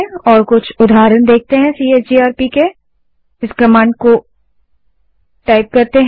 अब हम टर्मिनल पर चलते हैं और सीएचजीआरपी कमांड के कुछ उदाहरण देखते हैं